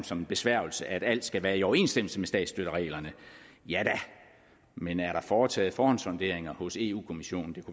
som en besværgelse at alt skal være i overensstemmelse med statsstøttereglerne ja da men er der foretaget forhåndssonderinger hos eu kommissionen